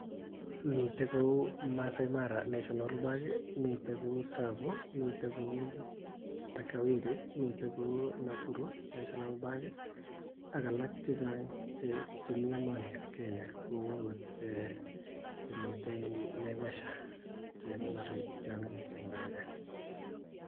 Miten kou Maasai mara national park miten kou Tsavo miten kou Takaweri miten kou Nakuru national park ak alak chechang chemii emonieb Kenya kou okot chemiten Naivasha chekonori tiong'ik en Kenya